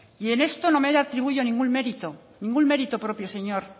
y en esto no me atribuyo ningún mérito ningún mérito propio señor